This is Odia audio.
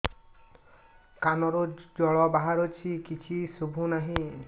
କାନରୁ ଜଳ ବାହାରୁଛି କିଛି ଶୁଭୁ ନାହିଁ